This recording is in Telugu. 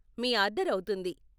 మీ ఆర్డరు అవుతుంది.